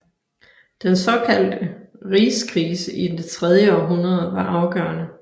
Den såkaldte rigskrise i det tredje århundrede var afgørende